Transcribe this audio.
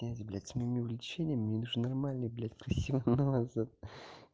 с ними влечение мне нужен нормальный красивый